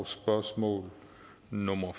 spørgsmål nummer